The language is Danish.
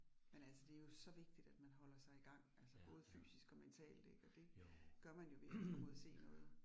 Men altså det jo så vigtigt, at man holder sig i gang altså både fysisk og mentalt ik, og det gør man jo ved at komme ud og se noget